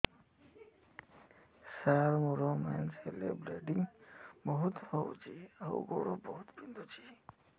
ସାର ମୋର ମେନ୍ସେସ ହେଲେ ବ୍ଲିଡ଼ିଙ୍ଗ ବହୁତ ହଉଚି ଆଉ ଗୋଡ ବହୁତ ବିନ୍ଧୁଚି